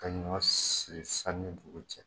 Ka ɲɔgɔn siri san ni dugu cɛ